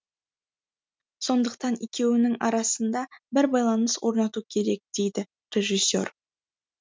сондықтан екеуінің арасында бір байланыс орнату керек дейді режиссер